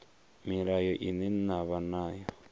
mulayo ine na vha nayo